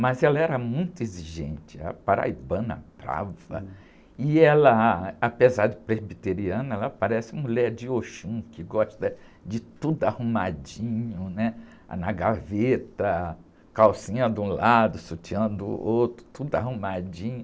mas ela era muito exigente, paraibana, brava, e ela, apesar de presbiteriana, ela parece mulher de Oxum, que gosta de tudo arrumadinho, né? Na gaveta, calcinha de um lado, sutiã do outro, tudo arrumadinho.